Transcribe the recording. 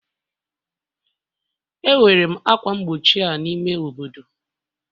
Ewere m ákwà mgbochi a n'ime obodo